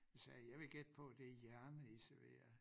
Sagde jeg vil gætte på det hjerne i serverer